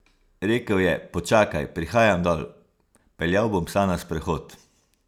Rekel je, počakaj, prihajam dol, peljal bom psa na sprehod.